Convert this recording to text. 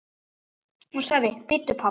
Hún sagði: Bíddu pabbi.